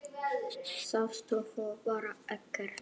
Sástu svo bara ekkert?